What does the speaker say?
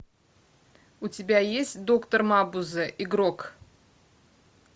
у тебя есть доктор мабузе игрок